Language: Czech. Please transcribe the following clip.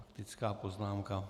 Faktická poznámka.